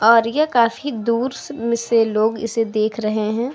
और ये काफी दूर से में से लोग इसे देख रहे है।